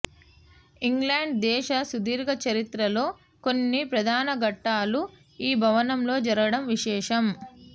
England దేశ సుదీర్ఘ చరిత్రలో కొన్ని ప్రధానఘట్టాలు ఈభవనంలో జరగడం విశేషం